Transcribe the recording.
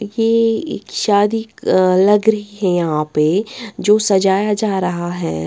ये एक शादी अ लग रही है यहां पे जो सजाया जा रहा है।